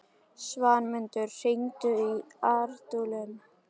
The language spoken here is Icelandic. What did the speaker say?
Svanmundur, hringdu í Ardúlín.